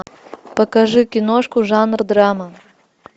покажи киношку жанр драма